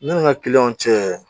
Ne ni n ka kiliyanw cɛ